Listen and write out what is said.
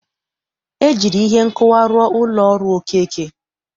E jiri ihe nkụwa rụọ ụlọ ọrụ Okeke.